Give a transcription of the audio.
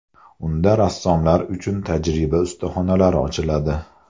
Unda rassomlar uchun tajriba ustaxonalari ochiladi.